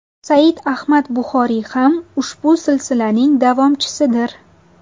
Said Ahmad Buxoriy ham ushbu silsilaning davomchisidir.